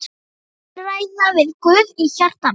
Ég vil ræða við Guð í hjarta mínu.